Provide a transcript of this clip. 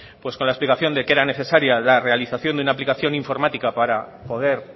con la explicación de que era necesaria la realización de una aplicación informática para poder